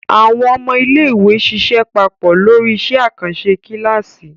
Àwọn ọmọ iléèwé ṣiṣẹ́ papọ̀ lórí iṣẹ́ àkànṣe kíláàsì